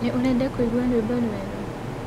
Nĩũrenda kũĩgũa rwĩmbo rwerũ?